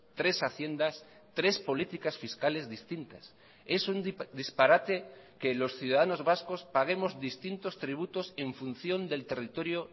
tres haciendas tres políticas fiscales distintas es un disparate que los ciudadanos vascos paguemos distintos tributos en función del territorio